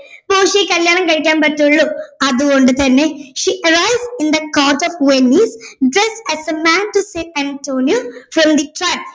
പോർഷ്യയെ കല്യാണം കഴിക്കാൻ പറ്റുള്ളൂ അതുകൊണ്ട് തന്നെ she arrives in the court of venice thus as the man who save antonio from the